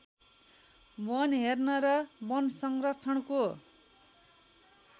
वन हेर्न र वनसंरक्षणको